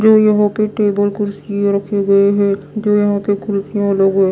जो यहां के टेबल कुर्सियां रखे गई हैं जो यहां के कुर्सियां आ--